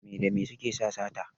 Me da me suke sa sata?